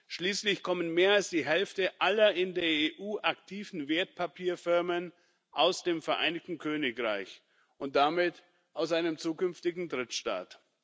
Schließlich kommen mehr als die Hälfte aller in der EU aktiven Wertpapierfirmen aus dem Vereinigten Königreich und damit aus einem zukünftigen Drittstaat.